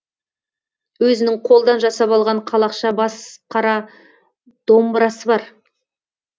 өзінің қолдан жасап алған қалақша бас қара домбырасы бар